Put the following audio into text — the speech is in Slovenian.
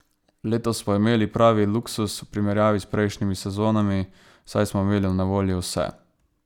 Letos smo imeli res pravi luksuz v primerjavi s prejšnjimi sezonami, saj smo imeli na voljo vse.